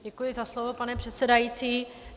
Děkuji za slovo, pane předsedající.